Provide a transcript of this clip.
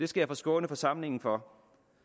skal jeg skåne forsamlingen for